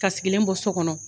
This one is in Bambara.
Ka sigilen bɔ so kɔnɔ.